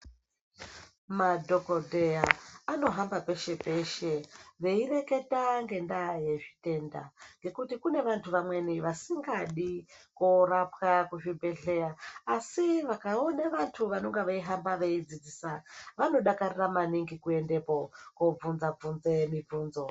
Madhokodheya, anohamba peshe-peshe veireketa ngendaa yezvitenda, ngekuti kune vantu vamweni vasingadi korapwa kuzvibhedhleya, asi vakaone vantu vanonga veihamba veidzidzisa, vanodakarira maningi kuendepo, kubvunza bvunze mibvunzo.